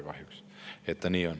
Nii kahjuks on.